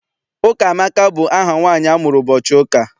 Ụkamaka bụ aha nwaanyị amụrụ ụbọchị ụka.